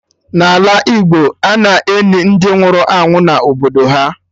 N'ala Igbo, ana-eni ndị nwụrụ anwụ na obodo ha